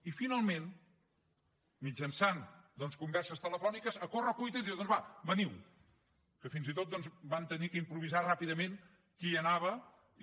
i finalment doncs mitjançant converses telefòniques a correcuita diu doncs va veniu que fins i tot doncs vam haver d’improvisar ràpidament qui hi anava i